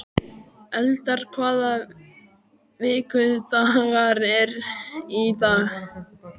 Eldar, hvaða vikudagur er í dag?